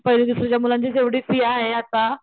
पहिली दुसरीच्या मुलांचीच एवढी फी आहे आता,